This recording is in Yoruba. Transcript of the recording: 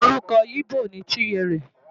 Orúkọ íbò ni Chinyere.